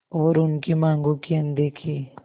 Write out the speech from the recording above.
और उनकी मांगों की अनदेखी